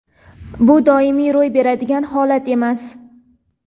bu doimiy ro‘y beradigan holat emas.